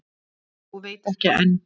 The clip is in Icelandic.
Og veit ekki enn.